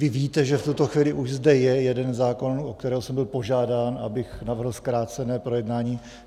Vy víte, že v tuto chvíli už zde je jeden zákon, u kterého jsem byl požádán, abych navrhl zkrácené projednání.